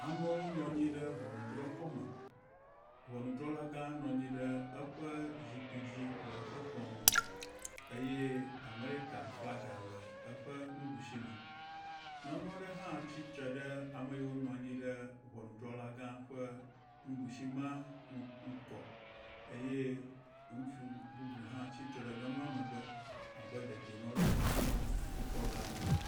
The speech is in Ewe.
Amewo nɔ anyi ɖe ŋɔnudrɔ̃xɔme. Ŋɔnudrɔ̃la gã nɔ anyi ɖe eƒe zikpui dzi le eƒe kplɔ ŋu eye Amerika flagi le eƒe nuɖusime. Nyɔnu aɖe hã tsitre ɖe ame yiwo nɔ anyi ɖe ŋɔnudrɔ̃la gã ƒe nuɖusimea ŋgɔ eye ŋutsu bubu hã tsitre ɖe nyɔnua megbe abe dedinɔnɔdzikpɔla ene.